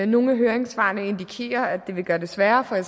nogle af høringssvarene indikerer at det vil gøre det sværere for